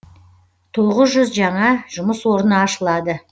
тоғыз жүз жаңа жұмыс орны ашылады